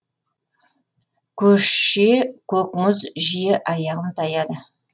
көше көк мұз жиі аяғым таяды